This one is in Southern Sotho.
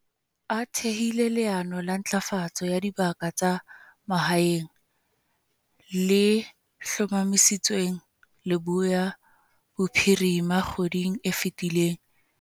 A thehile leano la Ntlafatso ya Dibaka tsa Mahaeng, le hlomamisitsweng Leboya Bophirima kgweding e fetileng.